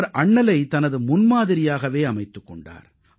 அவர் அண்ணலை தனது முன்மாதிரியாகவே அமைத்துக் கொண்டார்